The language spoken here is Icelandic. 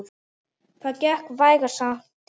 Það gekk vægast sagt illa.